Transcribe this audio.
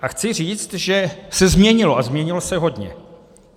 A chci říct, že se změnilo, a změnilo se hodně.